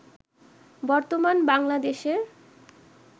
বর্তমান বাংলাদেশের